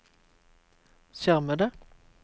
skjermede